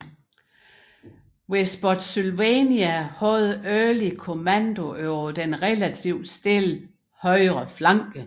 Ved Spotsylvania havde Early kommandoen over den relativt stille højre flanke